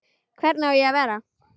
Hvernig á ég að vera?